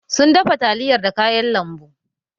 Sun dafa taliyar da kayan lambu.